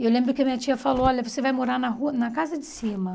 E eu lembro que a minha tia falou, olha, você vai morar na rua na casa de cima.